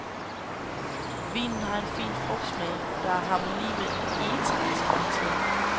Vinen har en fin frugtsmag, der er i harmoni med egetræskarakteren.